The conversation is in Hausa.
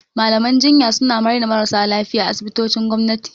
Malaman jinya suna raina marasa lafiya a asibitocin gwamnati.